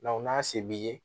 n'a se b'i ye